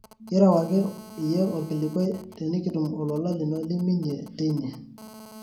kiirewaki iyie olkilikuai tenikitum olola lino liminie teine